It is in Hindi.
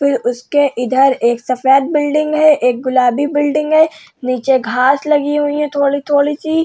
फिर उसके इधर एक सफ़ेद बिल्डिंग है एक गुलाबी बिल्डिंग हैं। नीचे घास लगी हुई है थोड़ी थोड़ी सी।